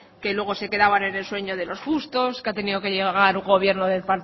que luego se quedaban en el sueño de los justos que ha tenido que llegar un gobierno del